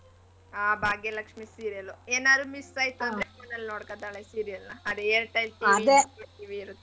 ಆ ಭಾಗ್ಯ ಲಕ್ಷ್ಮೀ serial ಉ ಏನ್ ಆದ್ರೂ miss ಆಯ್ತು ಅಂದ್ರೆ Voot ನಲ್ಲಿ ನೋಡ್ಕೋತಾಳೆ serial ನಾ .